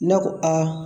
Ne ko aa